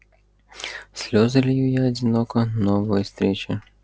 слезы лью я одиноко новая встреча